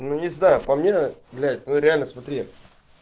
ну не знаю по мне блять ну реально смотри